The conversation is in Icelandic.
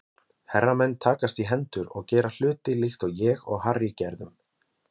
Herramenn takast í hendur og gera hluti líkt og ég og Harry gerðum.